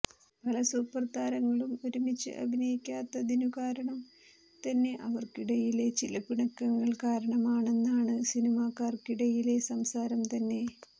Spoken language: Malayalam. പല സൂപ്പർ താരങ്ങളും ഒരുമിച്ച് അഭിനയിക്കാത്തതിനു കാരണം തന്നെ അവർക്കിടയിലെ ഈ പിണക്കങ്ങൾ കാരണമാണെന്നാണ് സിനിമാക്കാർക്കിടയിലെ സംസാരം തന്നെ